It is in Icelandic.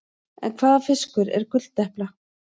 En hvaða fiskur er gulldepla?